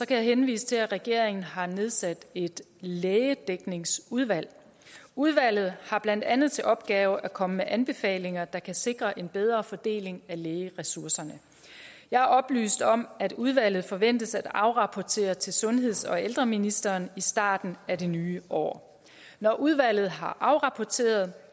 kan jeg henvise til at regeringen har nedsat et lægedækningsudvalg udvalget har blandt andet til opgave at komme med anbefalinger der kan sikre en bedre fordeling af lægeressourcerne jeg er oplyst om at udvalget forventes at afrapportere til sundheds og ældreministeren i starten af det nye år når udvalget har afrapporteret